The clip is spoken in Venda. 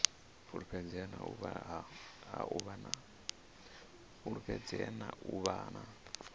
fulufhedzea na u vha na